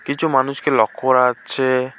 কিছু মানুষকে লক্ষ্য করা যাচ্ছে।